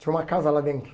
Tinha uma casa lá dentro.